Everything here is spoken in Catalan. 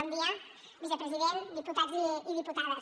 bon dia vicepresident diputats i diputades